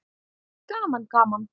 Gaman gaman!